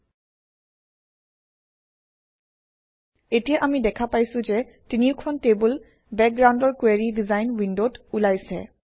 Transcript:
ল্টপাউচেগ্ট এতিয়া আমি দেখা পাইছোঁ যে তিনিওখন টেবুল বেকগ্ৰাউণ্ডৰ কুৱেৰি ডিজাইন উইণ্ডত ওলাইছে